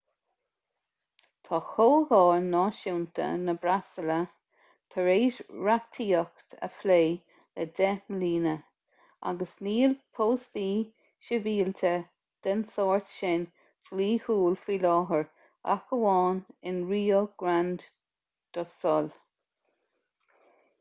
tá comhdháil náisiúnta na brasaíle tar éis reachtaíocht a phlé le 10 mbliana agus níl póstaí sibhialta den sórt sin dlíthiúil faoi láthair ach amháin in rio grande do sul